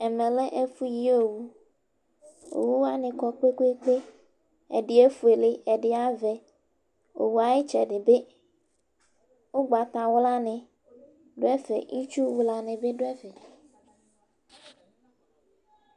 Ɛmɛ lɛ ɛfʋ yi owu; owu wanɩ kɔ kpekpekpeƐdɩ efuele, ɛdɩ avɛ, owu ayʋ ɩtsɛdɩ bɩ ʋgbatawla nɩ dʋ ɛfɛ ,itsu wla nɩ bɩ dʋ ɛfɛ